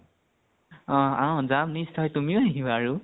অ অ যাম । নিশ্চয় । তুমি ও আহিবা আৰু ।